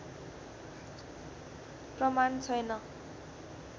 प्रमाण छैन